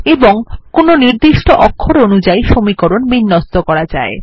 এবং কোনো নির্দিষ্ট অক্ষর অনুযায়ী সমীকরণ বিন্যস্ত করা যায়